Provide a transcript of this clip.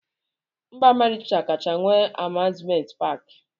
Mba Amerịka kacha nwee amuzment paki.